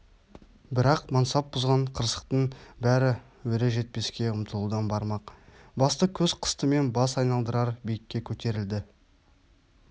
бірақ мансап бұзған қырсықтың бәрі өре жетпеске ұмтылудан бармақ басты көз қыстымен бас айналдырар биікке көтерілді